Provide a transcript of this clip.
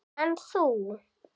En þú.